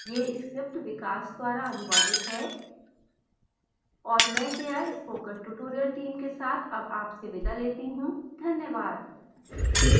यह script विकास द्वारा अनुवादित है और मैं जया spoken tutorial team के साथ अब आपसे विदा लेती हूँ